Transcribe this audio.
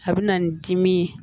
A bɛ na n dimi ye